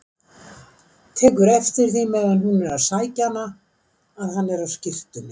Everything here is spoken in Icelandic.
Tekur eftir því meðan hún er að sækja hana að hann er á skyrtunni.